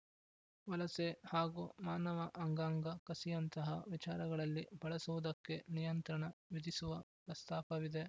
ವಲಸೆ ಹಾಗೂ ಮಾನವ ಅಂಗಾಂಗ ಕಸಿಯಂತಹ ವಿಚಾರಗಳಲ್ಲಿ ಬಳಸುವುದಕ್ಕೆ ನಿಯಂತ್ರಣ ವಿಧಿಸುವ ಪ್ರಸ್ತಾಪವಿದೆ